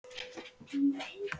Og svo er hljótt.